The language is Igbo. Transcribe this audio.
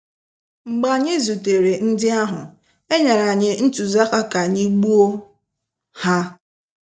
Mgbe anyi zutere ndị ahụ, enyere anyi ntuziaka ka anyị gbuo ha.